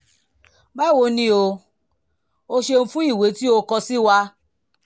báwo ni o? o ṣeun fún ìwé tí o kọ sí wa